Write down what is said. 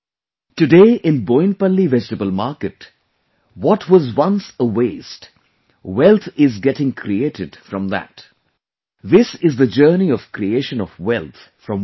Today in Boinpalli vegetable market what was once a waste, wealth is getting created from that this is the journey of creation of wealth from waste